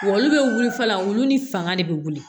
Wa olu bɛ wuli fana olu ni fanga de bɛ wuli